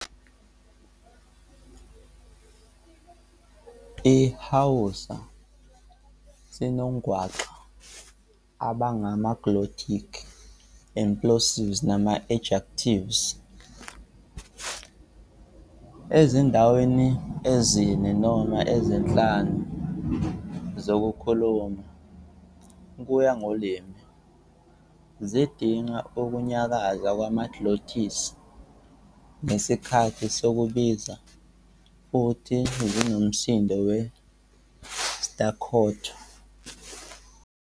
IsiHausa sinongwaqa abangama-glottalic, implosives nama-ejectives, ezindaweni ezine noma ezinhlanu zokukhuluma, kuya ngolimi. Zidinga ukunyakaza kwama-glottis ngesikhathi sokubiza futhi zinomsindo we-staccato.